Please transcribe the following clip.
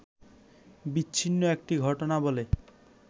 বিচ্ছিন্ন একটি ঘটনা বলে